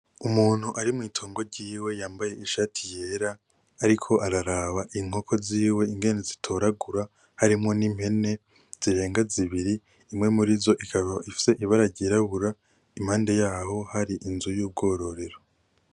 Umuntu ari mutungo ryiwe yambaye ishati yera ariko araraba inkoko ziwe ingene zitoragura, harimwo nimpene zirenga zibiri imwe muri zo ikaba ifise ibara ryirabura impande yaho hari inzu yubwororero.